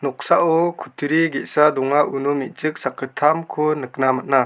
noksao kutturi ge·sa donga uno me·chik sakgittamko nikna man·a.